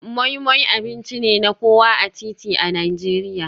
Moi Moi abinci ne na kowa a titi a Najeriya.